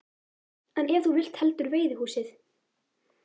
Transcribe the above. En ef þú vilt heldur veiðihúsið?